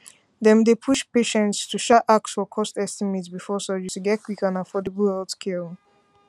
dem dey push patients to um ask for cost estimate um before surgery to get quick and affordable um healthcare